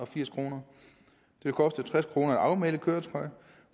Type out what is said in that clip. firs kroner det kostede tres kroner at afmelde et køretøj